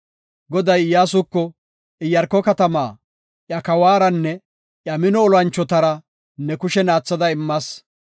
Goday Iyyasuko, “Iyaarko katamaa iya kawaranne iya mino olanchotara ne kushen aatha immas.